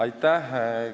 Aitäh!